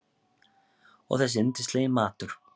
Og þessi yndislegi matur!